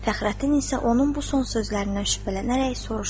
Fəxrəddin isə onun bu son sözlərindən şübhələnərək soruşdu.